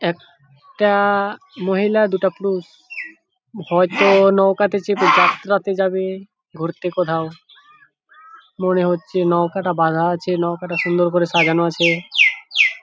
একটা মহিলা আর দুটা পুরুষ হয়তো নৌকা তে চেপে যাত্রা তে যাবে ঘুরতে কোথাও মনে হচ্ছে নৌকাটা বাধা আছে নৌকাটা সুন্দর করে সাজানো আছে ।